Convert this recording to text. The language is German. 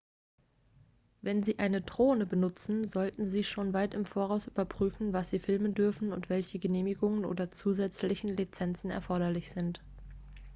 wenn sie eine drohne benutzen sollten sie schon weit im voraus überprüfen was sie filmen dürfen und welche genehmigungen oder zusätzlichen lizenzen erforderlich sind